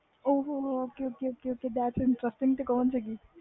ਉਹ ਹੋ